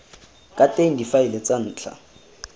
ka teng difaele tsa ntlha